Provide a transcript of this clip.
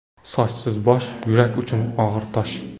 Sochsiz bosh – yurak uchun og‘ir tosh.